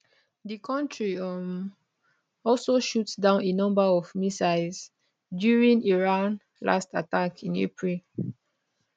di kontri um also shoot down a number of missiles during iran last attack in april